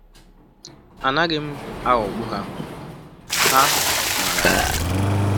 Anaghị m aghọgbu ha—ha maara ya!